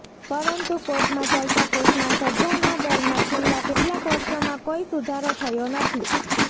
પરંતુ કોર્ટમાં ચાલતા કેસમાં સજાના દરમાં છેલ્લાં કેટલાંક વર્ષોમાં કોઈ સુધારો થયો નથી